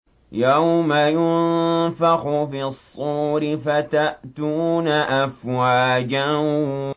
يَوْمَ يُنفَخُ فِي الصُّورِ فَتَأْتُونَ أَفْوَاجًا